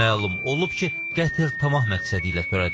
Məlum olub ki, qətl tamah məqsədi ilə törədilib.